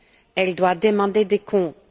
Elle doit demander des comptes.